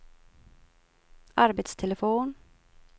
arbetstelefon